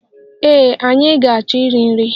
Ee, anyị ga-achọ iri nri.